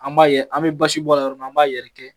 An m'a ye an mɛ basi bɔra yɔrɔ min na, an m'a yɛrɛ kɛ